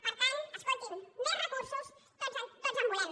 per tant escolti’m més recursos tots en volem